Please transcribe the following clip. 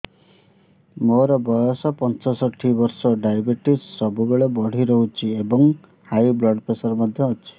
ମୋର ବୟସ ପଞ୍ଚଷଠି ବର୍ଷ ଡାଏବେଟିସ ସବୁବେଳେ ବଢି ରହୁଛି ଏବଂ ହାଇ ବ୍ଲଡ଼ ପ୍ରେସର ମଧ୍ୟ ଅଛି